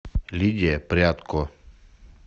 лидия прядко